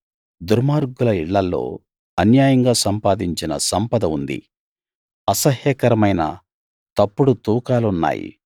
దుర్మార్గుల ఇళ్ళల్లో అన్యాయంగా సంపాదించిన సంపద ఉంది అసహ్యకరమైన తప్పుడు తూకాలున్నాయి